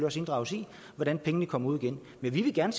også inddrages i hvordan pengene kommer ud igen men vi vil gerne